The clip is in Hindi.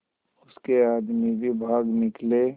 उसके आदमी भी भाग निकले